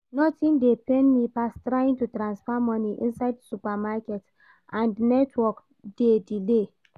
Nothing dey pain me pass trying to transfer money inside supermarket and network dey delay